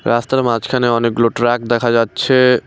রাস্তার মাঝখানে অনেকগুলো ট্রাক দেখা যাচ্ছে।